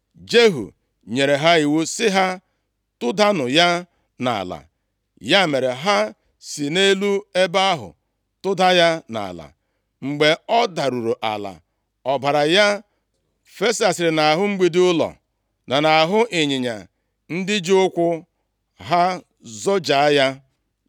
Jehu nyere ha iwu sị ha, “Tụdanụ ya nʼala.” Ya mere, ha si nʼelu ebe ahụ tụda ya nʼala. Mgbe ọ daruru ala, ọbara ya fesasịrị nʼahụ mgbidi ụlọ na nʼahụ ịnyịnya ndị ji ụkwụ ha zọjaa ya.